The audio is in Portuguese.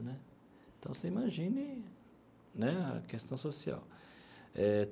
Né então, você imagine né a questão social eh.